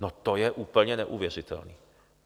No to je úplně neuvěřitelný.